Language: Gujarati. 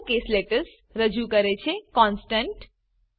અપર કેસ લેટર્સ રજૂ કરે છે કોન્સ્ટન્ટ